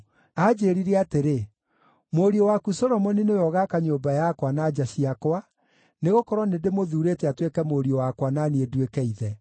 Aanjĩĩrire atĩrĩ: ‘Mũriũ waku Solomoni nĩwe ũgaaka nyũmba yakwa na nja ciakwa, nĩgũkorwo nĩndĩmũthuurĩte atuĩke mũriũ wakwa na niĩ nduĩke ithe.